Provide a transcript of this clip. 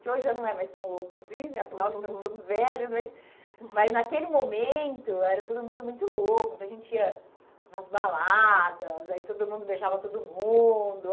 que hoje já não é mais tão louco assim, afinal, estamos todos velhos, mas... Mas naquele momento, era todo mundo muito louco, muita gente ia nas baladas, aí todo mundo beijava todo mundo.